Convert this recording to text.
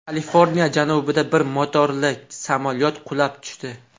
Kaliforniya janubida bir motorli samolyot qulab tushdi.